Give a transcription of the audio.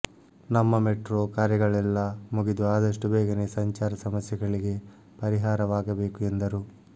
ನಮ್ಮ ಮೆಟ್ರೋ ಕಾರ್ಯಗಳೆಲ್ಲಾ ಮುಗಿದು ಆದಷ್ಟು ಬೇಗನೆ ಸಂಚಾರ ಸಮಸ್ಯೆಗಳಿಗೆ ಪರಿಹಾರವಾಗಬೇಕು ಎಂದರು